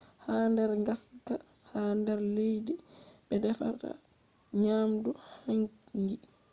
ha nder ngaska ha nder leddi ɓe defata nyamdu hangi